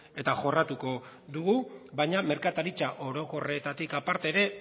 eta jorratuko dugu baina merkataritza orokorretatik aparte ere